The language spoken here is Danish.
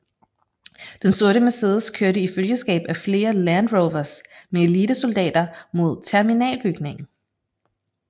Den sorte Mercedes kørte i følgeskab af flere Land Rovers med elitesoldater mod terminalbygningen